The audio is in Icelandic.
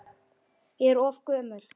Ég er of gömul.